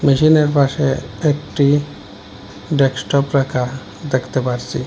মেশিনের পাশে একটি ডেক্সটপ রাখা দেখতে পারসি।